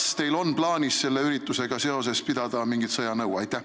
Kas teil on plaanis selle üritusega seoses pidada mingit sõjanõu?